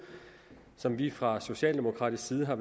som vi fra socialdemokratisk side var